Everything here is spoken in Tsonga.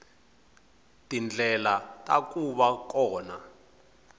tindlela ta ku va kona